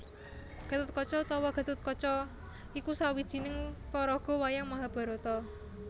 Gathotkaca utawa Gathutkaca iku sawijining paraga wayang Mahabharata